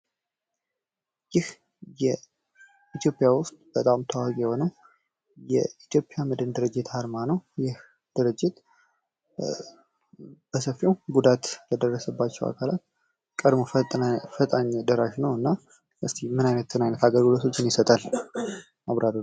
ይህ በኢትዮጵያ ውስጥ በጣም ታዋቂ የሆነው የኢትዮጵያ መድህን ድርጅት አርማ ነው። ይህ ድርጅት በሰፊው ጉዳት ለደረሰባቸው አካላት ቀደሞ ፈጣን ደራሽ ነው። እስኪ ምን አይነት አገልግሎቶችን ይሰጣል? አብራሩ